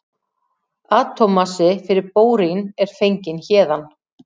Atómmassi fyrir bórín er fenginn héðan.